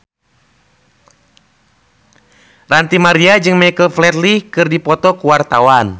Ranty Maria jeung Michael Flatley keur dipoto ku wartawan